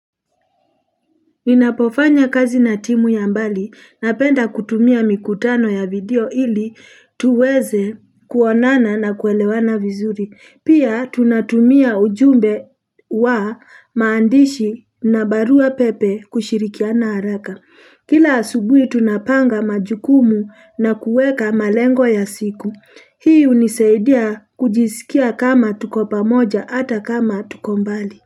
Ninapofanya kazi na timu ya mbali, napenda kutumia mikutano ya video ili tuweze kuonana na kuelewana vizuri. Pia tunatumia ujumbe wa maandishi na barua pepe kushirikiana haraka. Kila asubui tunapanga majukumu na kueka malengo ya siku. Hii hunisaidia kujisikia kama tuko pamoja hata kama tuko mbali.